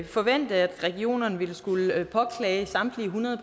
forvente at regionerne ville skulle påklage samtlige hundrede